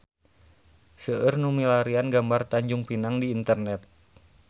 Seueur nu milarian gambar Tanjung Pinang di internet